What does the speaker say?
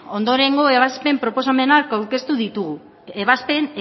ondorengo ebazpen proposamenak aurkeztu ditugu ebazpen